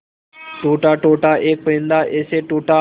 टूटा टूटा एक परिंदा ऐसे टूटा